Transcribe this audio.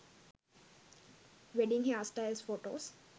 wedding hairstyles photos